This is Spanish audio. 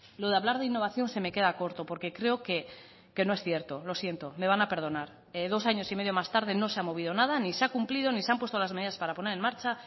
lo de hablar de innovación se me queda corto porque creo que no es cierto lo siento me van a perdonar dos años y medio más tarde no se ha movido nada ni se ha cumplido ni se han puesto las medidas para poner en marcha